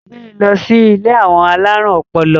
gbé ló sì ilé àwọn alarun ọpọlọ!